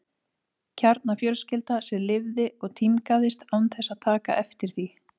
Kjarnafjölskylda sem lifði og tímgaðist án þess að taka eftir því.